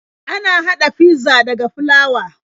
Ana haɗa fizza daga flawa.